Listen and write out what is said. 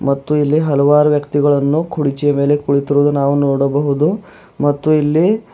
ಮತ್ತು ಇಲ್ಲಿ ಹಲವಾರು ವ್ಯಕ್ತಿಗಳನ್ನು ಕುರ್ಚಿಯ ಮೇಲೆ ಕುಳಿತಿರುವುದು ನಾವು ನೋಡಬಹುದು ಮತ್ತು ಇಲ್ಲಿ--